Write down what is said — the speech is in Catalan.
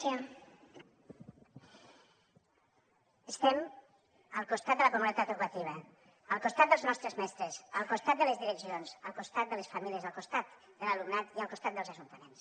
estem al costat de la comunitat educativa al costat dels nostres mestres al costat de les direccions al costat de les famílies al costat de l’alumnat i al costat dels ajuntaments